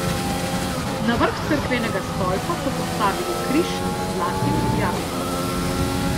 Na vrh cerkvenega stolpa so postavili križ z zlatim jabolkom.